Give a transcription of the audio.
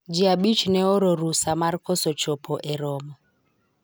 jii abich ne ooro rusa mar koso chopo e romo